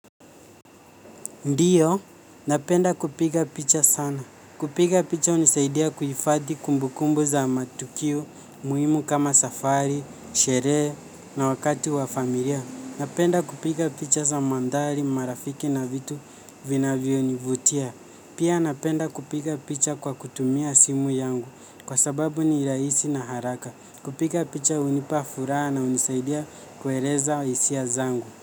Ndio, napenda kupiga picha sana. Kupiga picha hunisaidia kuhifadhi kumbukumbu za matukio umuhimu kama safari, sherehe na wakati wa familia. Napenda kupiga picha za mandhari marafiki na vitu vinavyonivutia. Pia napenda kupiga picha kwa kutumia simu yangu kwa sababu ni rahisi na haraka. Kupiga picha hunipa furaha na hunisaidia kueleza hisia zangu.